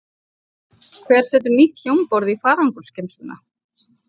Hver setur nýtt hljómborð í farangursgeymsluna?